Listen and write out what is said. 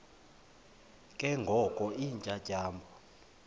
ke ngoko iintyatyambo